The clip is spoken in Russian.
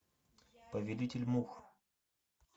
повелитель мух